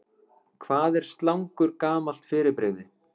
Hvað er slangur gamalt fyrirbrigði?